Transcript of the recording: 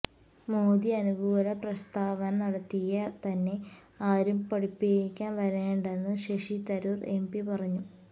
മോദി അനുകൂല പ്രസ്താവന നടത്തിയ തന്നെ ആരും പഠിപ്പിക്കാന് വരേണ്ടെന്ന് ശശി തരൂര് എംപി പറഞ്ഞു